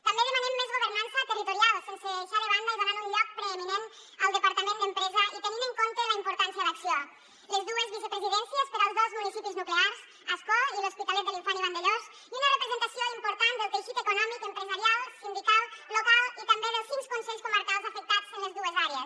també demanem més governança territorial sense deixar de banda i donant un lloc preeminent al departament d’empresa i tenint en compte la importància d’acció les dues vicepresidències per als dos municipis nuclears ascó i l’hospitalet de l’infant i vandellòs i una representació important del teixit econòmic empresarial sindical local i també dels cinc consells comarcals afectats en les dues àrees